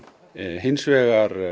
hins vegar